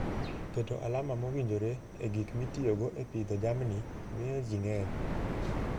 Keto alama mowinjore e gik mitiyogo e pidho jamni, miyo ji ng'eny.